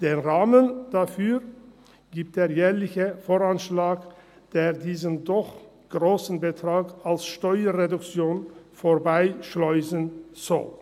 Den Rahmen dafür gibt der jährliche VA, der diesen doch grossen Betrag als Steuerreduktion vorbeischleusen soll.